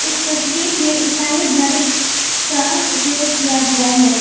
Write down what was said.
इस तस्वीर में ईसाई धर्म का उपयोग किया गया है।